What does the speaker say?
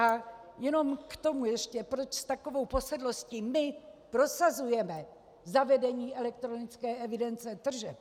A jenom k tomu ještě, proč s takovou posedlostí my prosazujeme zavedení elektronické evidence tržeb.